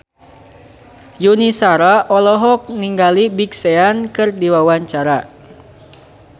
Yuni Shara olohok ningali Big Sean keur diwawancara